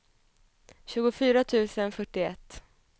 tjugofyra tusen fyrtioett